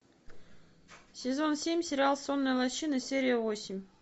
сезон семь сериал сонная лощина серия восемь